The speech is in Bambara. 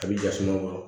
A bɛ jasuma kɔrɔ